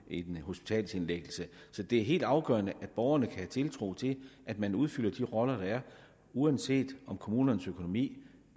en hospitalsindlæggelse så det er helt afgørende at borgerne kan have tiltro til at man udfylder de roller der er uanset om kommunernes økonomi